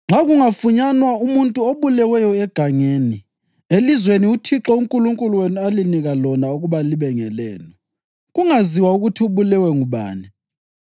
“Nxa kungafunyanwa umuntu obuleweyo egangeni, elizweni uThixo uNkulunkulu wenu alinika lona ukuba libe ngelenu, kungaziwa ukuthi ubulewe ngubani,